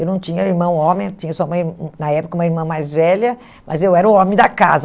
Eu não tinha irmão homem, eu tinha só uma ir, na época, uma irmã mais velha, mas eu era o homem da casa.